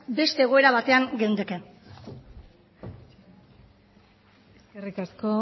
beste egoera batean geundeke eskerrik asko